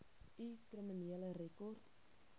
u kriminele rekord